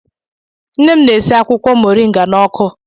Nne m na-esi akwụkwọ Moringa n'ọkụ.